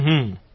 હંહં